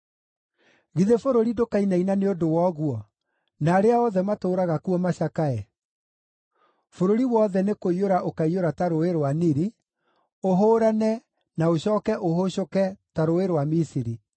“Githĩ bũrũri ndũkainaina nĩ ũndũ wa ũguo, na arĩa othe matũũraga kuo macakae? Bũrũri wothe nĩkũiyũra ũkaiyũra ta Rũũĩ rwa Nili, ũhũũrane, na ũcooke ũhũũcũke ta rũũĩ rwa Misiri.”